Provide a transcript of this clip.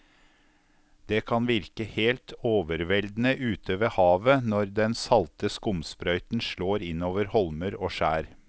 Det kan virke helt overveldende ute ved havet når den salte skumsprøyten slår innover holmer og skjær.